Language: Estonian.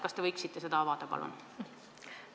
Kas te võiksite seda avada, palun?